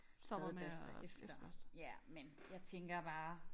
Stadig børster efter ja men jeg tænker bare